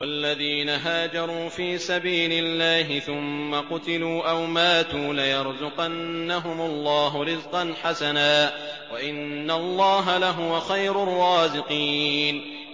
وَالَّذِينَ هَاجَرُوا فِي سَبِيلِ اللَّهِ ثُمَّ قُتِلُوا أَوْ مَاتُوا لَيَرْزُقَنَّهُمُ اللَّهُ رِزْقًا حَسَنًا ۚ وَإِنَّ اللَّهَ لَهُوَ خَيْرُ الرَّازِقِينَ